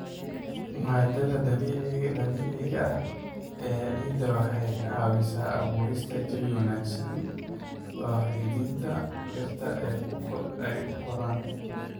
Maaddada dabiiciga ah ee ciidda waxay caawisaa abuurista jawi wanaagsan oo xididdada dhirta ay u koraan.